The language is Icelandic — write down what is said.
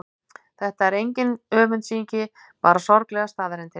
Þetta er engin öfundsýki, bara sorglegar staðreyndir.